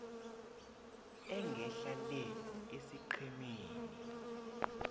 engehla le esiqhemeni